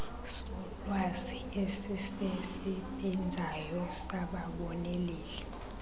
solwazi esisesbenzayo sababoneleli